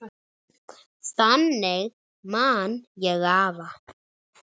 Þannig man ég afa.